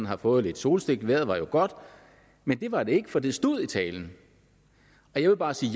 have fået lidt solstik for vejret var jo godt men det var ikke en fejl det stod i talen jeg vil bare sige